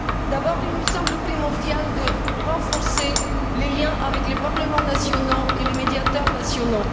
D'abord, il me semble primordial de renforcer les liens avec les parlements nationaux et les médiateurs nationaux.